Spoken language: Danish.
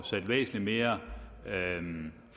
sat væsentlig mere